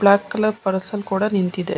Block colour Pulsar ಕೂಡ ನಿಂತಿದೆ.